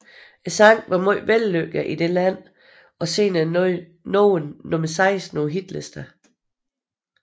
Sangen var meget vellykket i dette land og senere nåede nummer 16 på hitlisterne